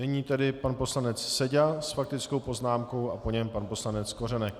Nyní tedy pan poslanec Seďa s faktickou poznámkou a po něm pan poslanec Kořenek.